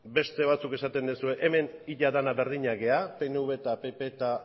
beste batzuk esaten duzue hemen ia denak berdinak gara pnv eta pp eta